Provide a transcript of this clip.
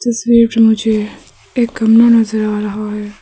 तस्वीर मे मुझे एक गमला नजर आ रहा है।